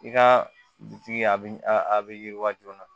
I ka bitigi a bi a bɛ yiriwa joona